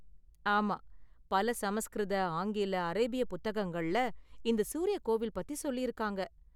ஆமா, பல சமஸ்கிருத, ஆங்கில, அரேபிய புத்தகங்கள்ல இந்த சூரிய கோவில் பத்தி சொல்லியிருக்காங்க.